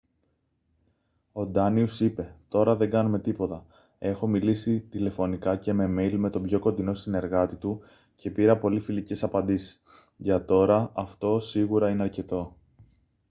ο ντάνιους είπε «τώρα δεν κάνουμε τίποτα. έχω μιλήσει τηλεφωνικά και με μέιλ με τον πιο κοντινό συνεργάτη του και πήρα πολύ φιλικές απαντήσεις. για τώρα αυτό σίγουρα είναι αρκετό»